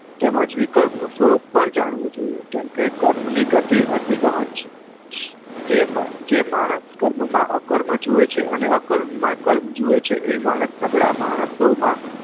તેમજ વિકલ્પ નું સ્વરૂપ પણ જાણવું જોઈએ કેમ કે કર્મ ની ગતી અતિ ગહન છે જે માનસ કર્મ માં અ કર્મ જોવે છે અને અ કર્મ માં કર્મ જોવે છે એ માનસ સગળા માણસો માં